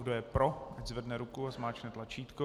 Kdo je pro, ať zvedne ruku a zmáčkne tlačítko.